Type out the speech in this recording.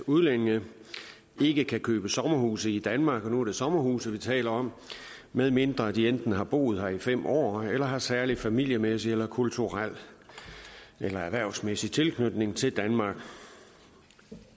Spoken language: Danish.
udlændinge ikke kan købe sommerhuse i danmark og nu er det sommerhuse vi taler om medmindre de enten har boet her i fem år eller har særlig familiemæssig eller kulturel eller erhvervsmæssig tilknytning til danmark